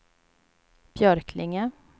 Björklinge